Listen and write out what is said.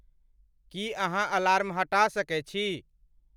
की अहाँअलार्म हटा सके छी